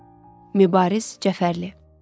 Mübariz Cəfərli.